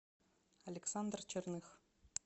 александр черных